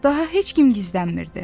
Daha heç kim gizlənmirdi.